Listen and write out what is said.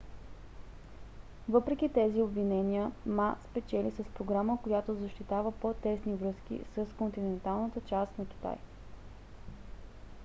въпреки тези обвинения ма спечели с програма която защитава по-тесни връзки с континенталната част на китай